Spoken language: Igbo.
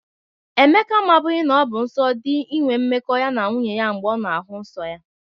Emeka amabụghi na ọ bụ nsọ dị inwe mmekọ ya na nwunye ya mgbe ọ na-ahụ nsọ ya.